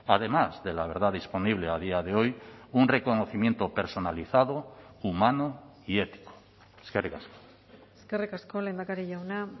además de la verdad disponible a día de hoy un reconocimiento personalizado humano y ético eskerrik asko eskerrik asko lehendakari jauna